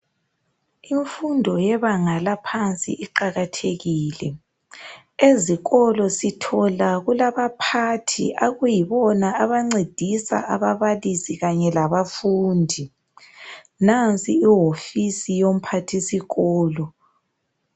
Imfundo yebanga laphansi iqakathekile .Ezikolo sithola kulabaphathi okuyibona abancedisa ababalisi kanye labafundi. Nansi ihofisi yomphathisikolo.